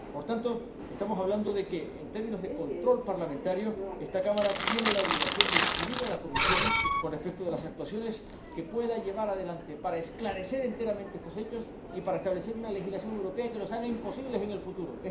Por tanto, estamos hablando de que, en términos de control parlamentario, esta Cámara tiene la obligación de inquirir a la Comisión con respecto a las actuaciones que pueda llevar adelante para esclarecer enteramente estos hechos y para establecer una legislación europea que los haga imposibles en el futuro.